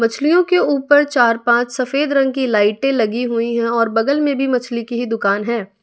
मछलियों के ऊपर चार पांच सफेद रंग की लाइटें लगी हुई हैं और बगल में भी मछली की ही दुकान है।